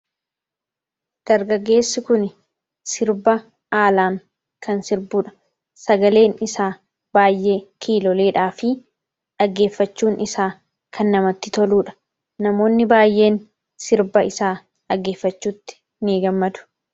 dargageessi kun sirba haalaan kan sirbuudha sagaleen isa baay'ee kiiloleedhaa fi dhaggeeffachuun isaa kan namatti toluudha namoonni baayeen sirba isaa dhaggeeffachuutti ni gammadu